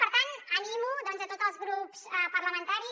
per tant animo a tots els grups parlamentaris